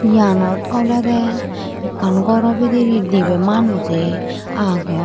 Eyanot olode ekkan goro bidire dibe manuje agon.